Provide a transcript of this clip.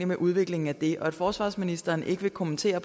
med udviklingen af det at forsvarsministeren ikke vil kommentere